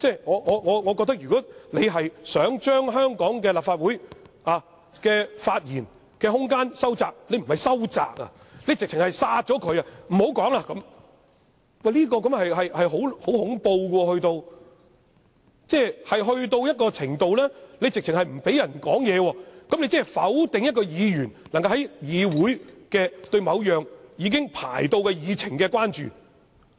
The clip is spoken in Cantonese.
我覺得，如果他想將香港立法會的發言空間收窄——他不是收窄，簡直是扼殺——不讓議員討論，這是十分恐怖，達致不讓議員發言的程度，即否定一名議員能夠在議會，表達對某項已經列入議程的議案的關注。